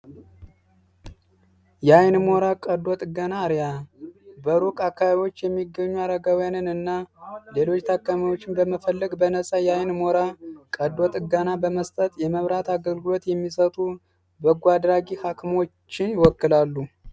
የአይን ሞራ ቀዶ ጥጋና አርያ በሩቅ አካቢዎች የሚገኙ አረጋዊያንን እና ሌሎች ታካማዎችን በመፈለግ በነፃ የአይን ሞራ ቀዶ ጥጋና በመስጠጥ የመብራት አገልግሎት የሚሰቱ በጓድራጊ ሐክሞችን ይወክላሉ።